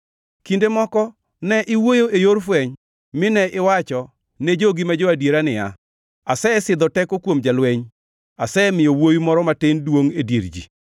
Kinde moko ne iwuoyo e yor fweny, mine iwacho ne jogi ma jo-adiera niya, “Asesidho teko kuom jalweny, asemiyo wuowi moro matin duongʼ e dier ji.